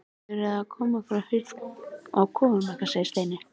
Þið þurfið að hafa hurð á kofanum ykkar segir Steini.